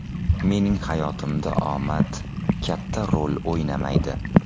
Mening hayotimda omad katta rol o‘ynamaydi.